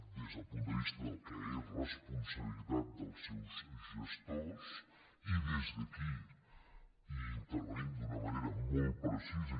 des del punt de vista del que és responsabilitat dels seus gestors i des d’aquí hi intervenim d’una manera molt precisa